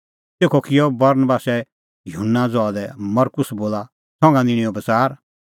तेखअ किअ बरनबासै युहन्ना ज़हा लै मरकुस बोला संघा निंणैओ बच़ार